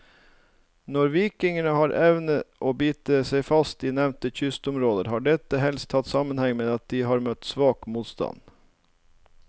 Når vikingene har evnet å bite seg fast i nevnte kystområder, har dette helst hatt sammenheng med at de har møtt svak motstand.